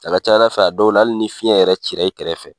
A ka ca Ala fɛ a dɔw la hali ni fiɲɛ yɛrɛ cira i kɛrɛfɛ.